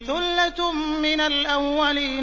ثُلَّةٌ مِّنَ الْأَوَّلِينَ